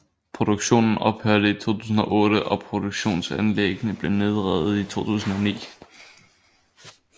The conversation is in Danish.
Produktionen ophørte i 2008 og produktionsanlæggene blev nedrevet i 2009